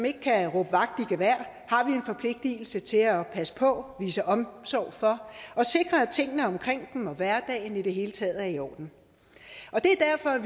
ikke kan råbe vagt i gevær har vi en forpligtelse til at passe på vise omsorg for og sikre at tingene omkring dem og hverdagen i det hele taget er i orden det er derfor at